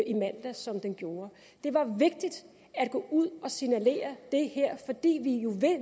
i mandags som den gjorde det var vigtigt at gå ud og signalere det her